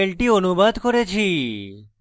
এই টিউটোরিয়ালটি অনুবাদ করেছি